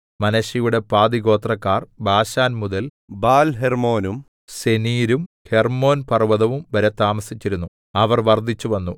മനശ്ശെയുടെ പാതിഗോത്രക്കാർ ബാശാൻ മുതൽ ബാൽഹെർമ്മോനും സെനീരും ഹെർമ്മോൻ പർവ്വതവും വരെ താമസിച്ചിരുന്നു അവർ വർദ്ധിച്ചുവന്നു